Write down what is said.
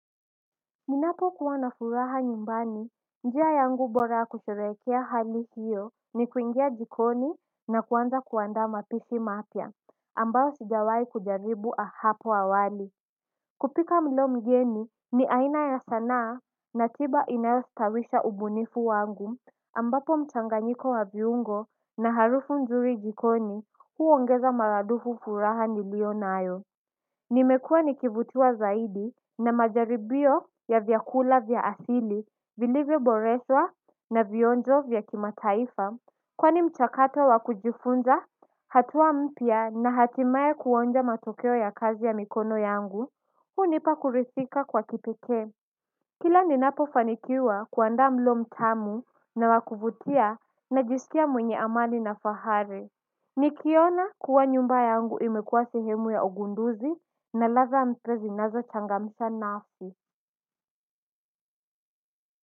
Ninapo kuwa na furaha nyumbani njia yangu bora kusherehekea hali hiyo ni kuingia jikoni na kuanza kuandaa mapishi mapya ambayo sijawai kujaribu hapo awali kupika mlo mgeni ni aina ya sanaa na tiba inayostawisha ubunifu wangu ambapo mchanganyiko wa viungo na harufu nzuri jikoni huongeza maradufu furaha nilio nayo. Nimekua nikivutiwa zaidi na majaribio ya vyakula vya asili vilivyo boreshwa na vionjo vya kimataifa. Kwani mchakato wa kujifunza, hatua mpya na hatimaye kuonja matokeo ya kazi ya mikono yangu, hunipa kuridhika kwa kipekee. Kila ninapo fanikiwa kuandaa mlo mtamu na wa kuvutia najisikia mwenye amani na fahari. Nikiona kuwa nyumba yangu imekuwa sehemu ya ugunduzi na ladha mpya zinazo changamsha nafsi.